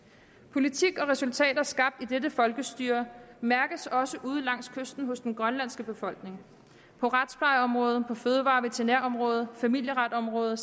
politik og resultater skabt i dette folkestyre mærkes også ude langs kysten hos den grønlandske befolkning på retsplejeområdet på fødevare og veterinærområdet på familieretområdet og